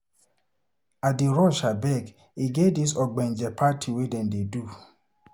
I dey rush abeg, e get dis ogbonge party dem dey do.